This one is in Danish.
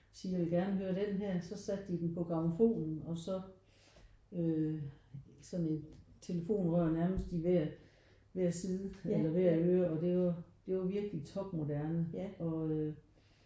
Og sige jeg vil gerne høre den her så satte de den på grammofonen og så øh sådan et telefonrør nærmest i hver hver side eller hver øre og det det var jo virkelig topmoderne og øh